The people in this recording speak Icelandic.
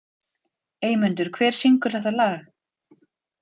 Eymundur, hver syngur þetta lag?